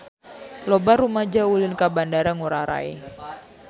Loba rumaja ulin ka Bandara Ngurai Rai